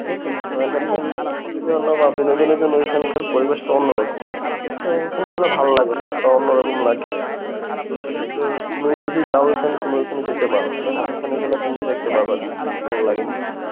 ঠিক আছে বিনোদনের জন্যে ঐখানকার পরিবেশটা অন্যরকম. তো ঐখানে যেন ভালো লাগে অন্যরকম লাগে তো সেক্ষেত্রে তুমি যদি যাও ওখানে তুমি ওখানে যেতে পারো হ্যাঁ ওখানে গেলে তুমি দেখতে পাবা ভালো লাগে.